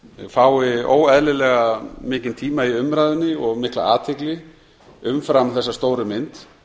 fái óeðlilega mikinn tíma í umræðunni og mikla athygli umfram þessa stóru mynd